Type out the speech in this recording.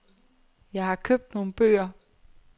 Jeg har købt nogle bøger.